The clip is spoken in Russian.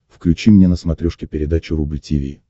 включи мне на смотрешке передачу рубль ти ви